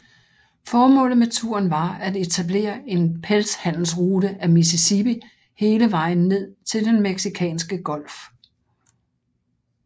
Formålet med turen var at etablere en pelshandelsrute ad Mississippi hele vejen ned til den Mexicanske Golf